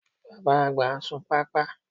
Bàbá-àgbà ń sun pápá